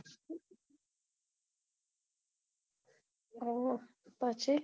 ઓહો પછી